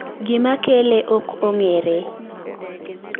Gimakele oko ong'ere